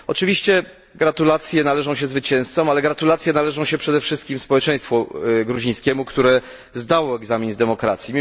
Oczywiście gratulacje należą się zwycięzcom, ale gratulacje należą się przede wszystkim społeczeństwu gruzińskiemu, które zdało egzamin z demokracji.